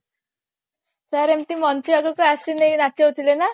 sir ଏମତି ମଞ୍ଚ ଆଗକୁ ଆସିଲେ ନଚୋଉ ଥିଲେ ନା